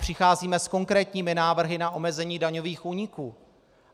Přicházíme s konkrétními návrhy na omezení daňových úniků.